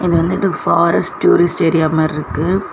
இது வந்துட்டு forest tourist area மாருக்கு.